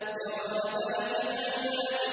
إِرَمَ ذَاتِ الْعِمَادِ